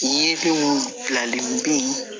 Ye binw filanlen